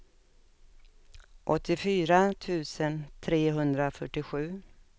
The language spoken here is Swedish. åttiofyra tusen trehundrafyrtiosju